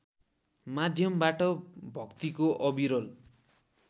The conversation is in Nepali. माध्यमबाट भक्तिको अविरल